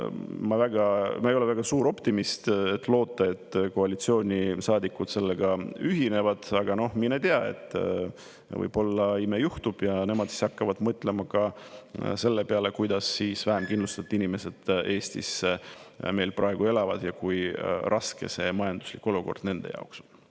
Ma ei ole väga suur optimist, et loota, et koalitsioonisaadikud sellega ühinevad, aga mine tea, võib-olla ime juhtub ja nemad hakkavad mõtlema ka selle peale, kuidas vähem kindlustatud inimesed Eestis meil praegu elavad ja kui raske see majanduslik olukord nende jaoks on.